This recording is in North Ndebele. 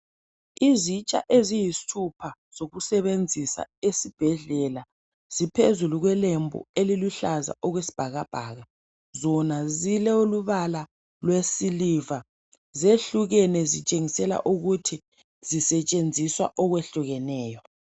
Izitsha eziyisithupha ezokusebenzisa esibhedlela phezulu kwelembu eliluhlaza okwesbhakabhaka Zona zilombala wesiliva. Ziyehlukene zitshingesela ukuthi isetshenziswa okwehlukeneyo.